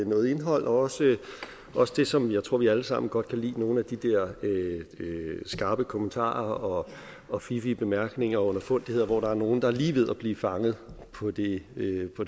noget indhold og også det som jeg tror vi alle sammen godt kan lide nemlig nogle af de der skarpe kommentarer og fiffige bemærkninger og underfundigheder hvor der er nogle der lige er ved at blive fanget på det